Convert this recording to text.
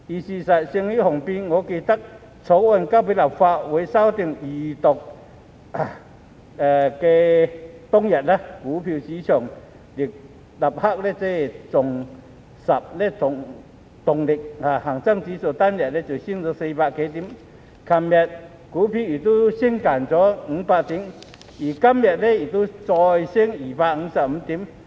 事實勝於雄辯，我記得在《條例草案》提交立法會進行首讀和二讀當天，股票市場立即重拾動力，恒生指數單日飆升400多點，昨天股市亦升近500點，今天亦再升了255點。